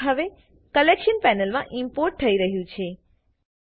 clip હવે collection પેનલમાં import થઇ રહ્યું છે